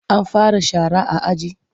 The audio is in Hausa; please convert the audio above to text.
An fara shara a aji?